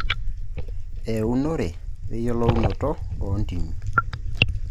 Eunore we yiolounoto oo ntimi.